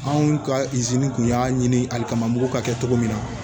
Anw ka kun y'a ɲini ali kama mugu ka kɛ cogo min na